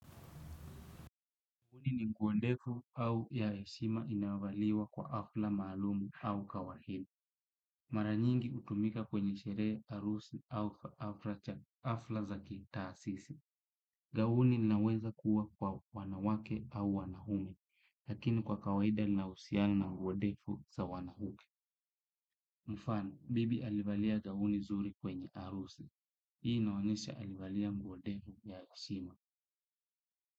Gauni ni nguo ndefu au ya heshima inayovaliwa kwa hafla maalumu au kawaida. Mara nyingi hutumika kwenye sherehe harusi au hafla za ki taasisi. Gauni linaweza kuwa kwa wanawake au wanaume. Lakini kwa kawaida linahusiana na nguo ndefu za wanawake. Mfano, bibi alivalia gauni nzuri kwenye harusi. Hii inaonyesha alivalia nguo ndefu ya heshima.